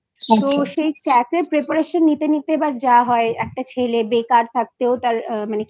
কিন্তু সেই CAT এর Preparation নিতে নিতে যা হয় একটা ছেলে বেকার থাকতেও তার মানে